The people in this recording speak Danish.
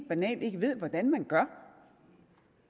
banalt ikke ved hvordan man gør